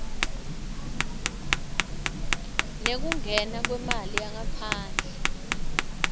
nekungena kwemali yangaphandle